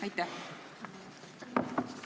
Aitäh!